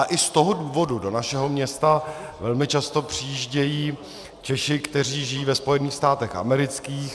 A i z toho důvodu do našeho města velmi často přijíždějí Češi, kteří žijí ve Spojených státech amerických.